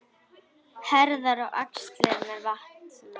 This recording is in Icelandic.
Herðar og axlir megi vanta.